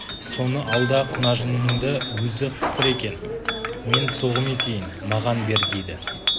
соны ал да құнажыныңды өзі қысыр екен мен соғым етейін маған бер дейді